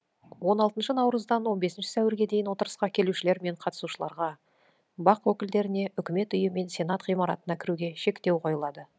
он алтынша наурыздан он бесінші сәуірге дейін отырысқа келушілер мен қатысушыларға бақ өкілдеріне үкімет үйі мен сенат ғимаратына кіруге шектеу қойылады